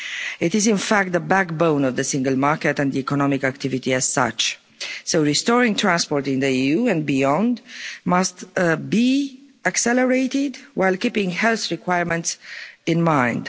It is in fact the backbone of the single market and economic activity as such. So restoring transport in the EU and beyond must be accelerated, while keeping health requirements in mind.